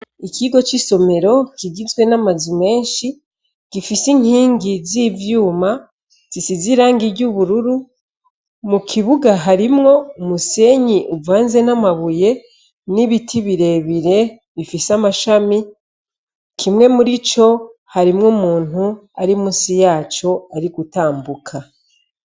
Ikigo c'isomero kigizwe n'amazu menshi gifise inkingi z'ivyuma zisize irangi ry'ubururu, mu kibuga harimwo umusenyi uvanze n'amabuye n'ibiti birebire bifise amashami kimwe muri co harimwo umuntu ari musi yaco ari gutambuka.